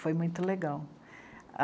Foi muito legal.